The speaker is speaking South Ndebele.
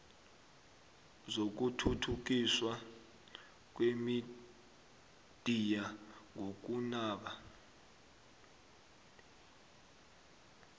zokuthuthukiswa kwemidiya ngokunaba